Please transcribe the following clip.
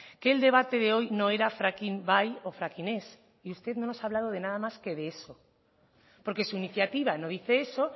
que el debate de hoy no era fracking bai o fracking ez y usted no nos ha hablado de nada más que de eso porque su iniciativa no dice eso